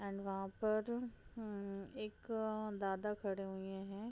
And वहाँ पर एक-अ दादा खड़े हुए है ।